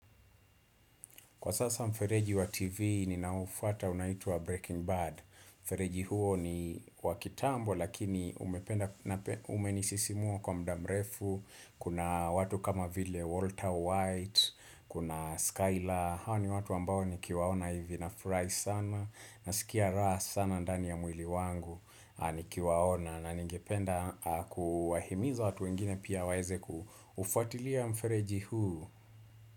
Kwa sasa mfereji wa TV ninaoufuata unaituwa Breaking Bad. Mfereji huo ni wakitambo lakini umenisisimua kwa muda mrefu. Kuna watu kama vile Walter white, kuna Skylar. Hawa ni watu ambao nikiwaona hivi nafurahi sana. Nasikia raha sana ndani ya mwili wangu nikiwaona. Na ningependa kuwahimiza watu ingine pia waeze kufuatilia mfereji huu.